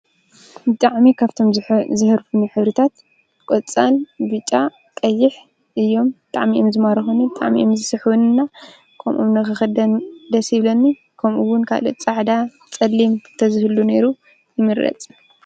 ብጣዕሚ ደስ ካብቶም ዘህሩፍኒ ሕብሪታት ቆፃል፣ ብጫ፣ ቀይሕ እዮም፡፡ ብጣዕሚ እዮም ዝማርኹኒ፣ ብጣዕሚ እዮም ዝስሕቡኒ እና ከምኦም ንክኽደን ደስ ይብለኒ፡፡ ከምኡ’ውን ካሊእ ፃዕዳ፣ ፀሊም ተዝህሉ ነይሩ ይምረፅ፡፡